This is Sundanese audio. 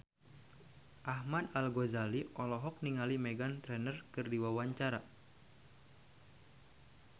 Ahmad Al-Ghazali olohok ningali Meghan Trainor keur diwawancara